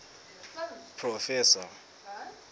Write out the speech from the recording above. proffesor